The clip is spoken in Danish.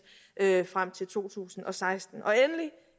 frem til to tusind og seksten og endelig